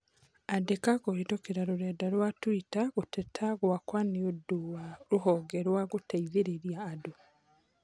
Andĩka kũhĩtũkĩra rũrenda rũa tũita gũteta gwakwa nĩũndĩ wa rũhonge rwa gũteithĩrĩria andũ